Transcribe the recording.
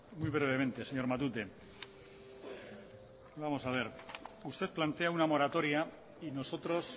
muy brevemente señor matute vamos a ver usted plantea una moratoria y nosotros